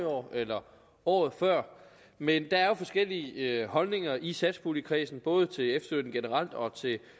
år eller året før men der er jo forskellige holdninger i satspuljekredsen både til efterlønnen generelt og